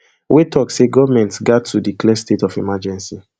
wey tok say goment gat to declare state of emergency